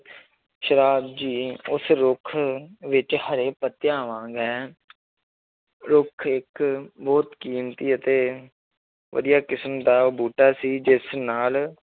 ਸ਼ਰਾਬ ਜੀ ਉਸ ਰੁੱਖ ਵਿੱਚ ਹਰੇ ਪੱਤਿਆਂ ਰੁੱਖ ਇੱਕ ਬਹੁਤ ਕੀਮਤੀ ਅਤੇ ਵਧੀਆ ਕਿਸ਼ਮ ਦਾ ਬੂਟਾ ਸੀ ਜਿਸ ਨਾਲ